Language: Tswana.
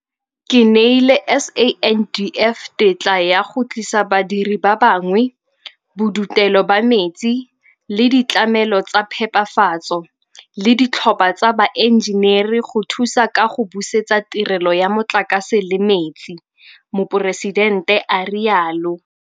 Ke neile SANDF tetla ya go tlisa badiri ba bangwe, bodutelo ba metsi le ditlamelo tsa phepafatso le ditlhopha tsa baenjeneri go thusa ka go busetsa tirelo ya motlakase le metsi, Moporesidente a rialo.